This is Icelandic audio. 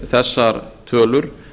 þessar tölur